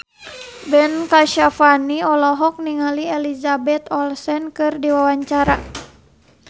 Ben Kasyafani olohok ningali Elizabeth Olsen keur diwawancara